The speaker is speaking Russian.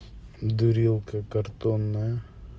дурилка картонная